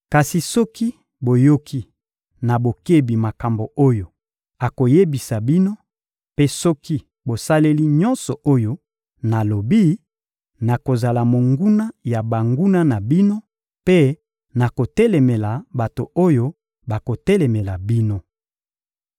Kasi soki boyoki na bokebi makambo oyo akoyebisa bino mpe soki bosaleli nyonso oyo nalobi, nakozala monguna ya banguna na bino mpe nakotelemela bato oyo bakotelemela bino.